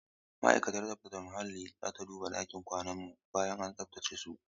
Ma'aikatar tsaftar muhalli za ta duba ɗakin kwanan mu bayan an tsaftace su.